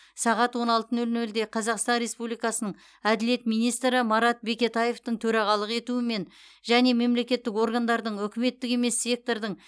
сағат он алты нөл нөлде қазақстан республикасының әділет министрі марат бекетаевтың төрағалық етуімен және мемлекеттік органдардың үкіметтік емес сектордың